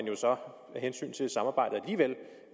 jo så